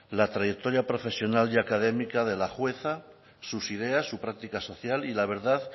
la trayectoria profesional y académica de la jueza sus ideas su práctica social y la verdad